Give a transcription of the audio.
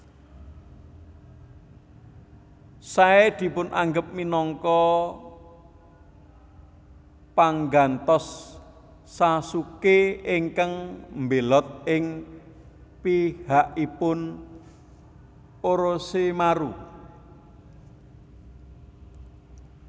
Sai dipunanggep minangka panggantos Sasuke ingkang mbelot ing pihakipun Orochimaru